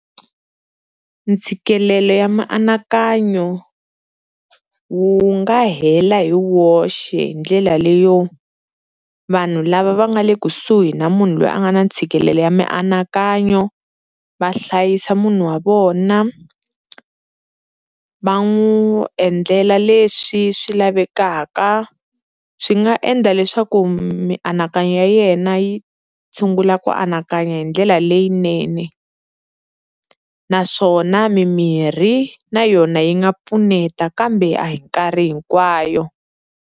Ntshikelelo ya mianakanyo wu nga hela hi woxe hi ndlela leyo, vanhu lava va nga le kusuhi na munhu loyi a nga na ntshikelelo ya mianakanyo va hlayisa munhu wa vona, va n'wi endlela leswi swi lavekaka. Swi nga endla leswaku mianakanyo ya yena yi tshungula ku anakanya hi ndlela leyinene. Naswona mimirhi na yona yi nga pfuneta kambe a hi nkarhi hinkwayo.